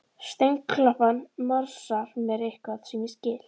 Steinklappan morsar mér eitthvað sem ég skil